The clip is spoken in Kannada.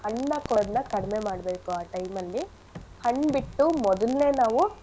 ಹಣ್ನ ಕೊಡದನ್ನ ಕಡ್ಮೆ ಮಾಡ್ಬೇಕು ಆ time ಅಲ್ಲಿ ಹಣ್ ಬಿಟ್ಟು ಮೊದಲ್ನೇ ನಾವು.